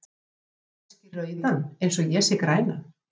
sérð þú kannski rauðan eins og ég sé grænan